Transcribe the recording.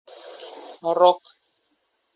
рок